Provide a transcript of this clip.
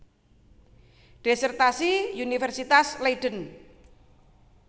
Disertasi Universitas Leiden